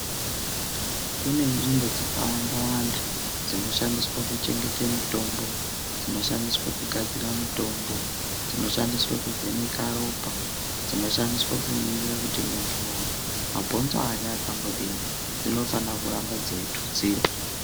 Kune nzvimbo dzaka wanda wanda dzino shandiswe kuchengete mitombo dzino shandiswe kugadzira mutombo dzino shandiswa kuvheneka ropa dzino shandiswe kuningira kuti muntu mabhonzo ake akambodini dzinofana kuramba dzeyi tutsirwa.